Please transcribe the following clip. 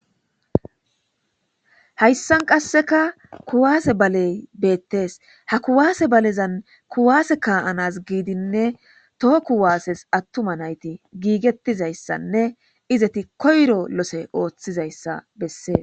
Hayssan qasseka kuwaase baley beettees ha kuwaase balezan kuwaase kaa,anas giidinne too kuwaases attuma nayti giigettizayssanne izeti koyro lose ooththizayssa bessees.